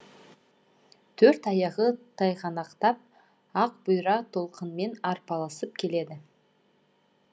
төрт аяғы тайғанақтап ақ бұйра толқынмен арпалысып келеді